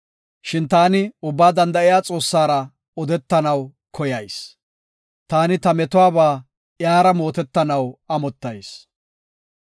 Shin taani Ubbaa Danda7iya Xoossara odetanaw koyayis; taani ta metuwaba iyara mootetanaw amottayis.